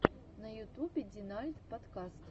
на ютубе динальт подкаст